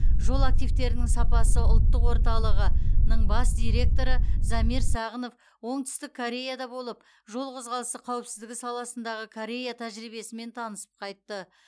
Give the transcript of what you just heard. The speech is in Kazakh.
жол активтерінің сапасы ұлттық орталығының бас директоры замир сағынов оңтүстік кореяда болып жол қозғалысы қауіпсіздігі саласындаы корея тәжірибесімен танысып қайтты